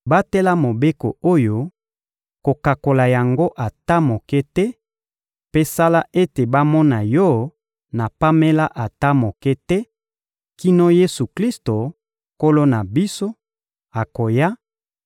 Batela mobeko oyo, kokakola yango ata moke te, mpe sala ete bamona yo na pamela ata moko te, kino Yesu-Klisto, Nkolo na biso, akoya